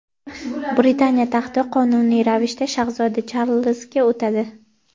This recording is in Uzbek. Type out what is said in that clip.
Britaniya taxti qonuniy ravishda shahzoda Charlzga o‘tadi.